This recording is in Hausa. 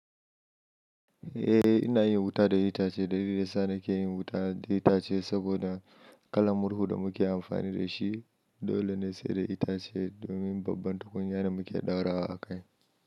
Eh, ina yin wuta da itace. Dalili da sa na ke yin wuta da itace saboda kalan murhu da muke amfani da shi dole ne sai da itace domin babban tukunya da muke ɗaura a kai.